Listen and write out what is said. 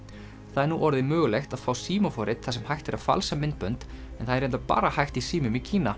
það er nú orðið mögulegt að fá þar sem hægt er að falsa myndbönd en það er reyndar bara hægt í símum í Kína